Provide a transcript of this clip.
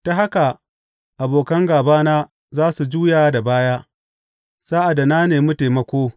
Ta haka abokan gābana za su juya da baya sa’ad da na nemi taimako.